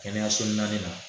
Kɛnɛyaso naani na